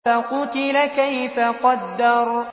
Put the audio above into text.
فَقُتِلَ كَيْفَ قَدَّرَ